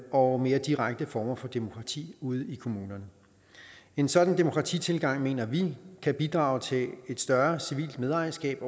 og mere direkte former for demokrati ude i kommunerne en sådan demokratitilgang mener vi kan bidrage til et større civilt medejerskab